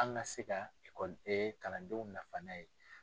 An ka se ka ekɔli kalandenw nafa n'a ye.